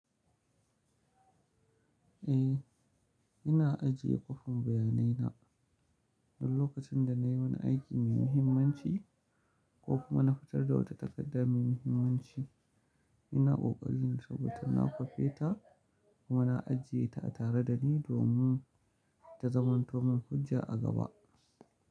Eh, ina ajiye kwafin bayanai na. Don lokacin da nayi wani aiki mai muhimmanci ko kuma na fitar da wata takarda mai muhimmanci, ina ƙoƙarin saboda na kwafe ta kuma na ajiye ta tare da ni domin ta zamanto mun hujja a gaba.